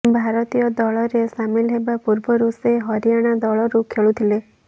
ଭାରତୀୟ ଦଳରେ ସାମିଲ୍ ହେବା ପୂର୍ବରୁ ସେ ହରିୟାଣା ଦଳରୁ ଖେଳୁଥିଲେ